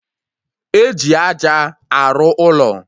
Eji aja arụ ụlọ